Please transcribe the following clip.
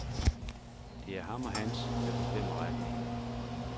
Det er ham og hans, der bestemmer retningen.